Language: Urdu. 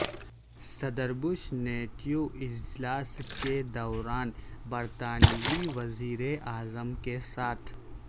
صدر بش نیٹو اجلاس کے دوران برطانوی وزیراعظم کے ساتھ